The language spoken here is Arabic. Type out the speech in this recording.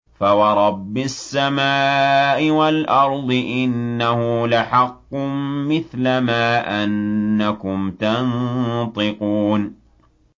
فَوَرَبِّ السَّمَاءِ وَالْأَرْضِ إِنَّهُ لَحَقٌّ مِّثْلَ مَا أَنَّكُمْ تَنطِقُونَ